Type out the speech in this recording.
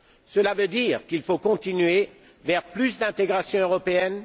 Cela veut dire qu'il faut continuer vers plus d'intégration européenne.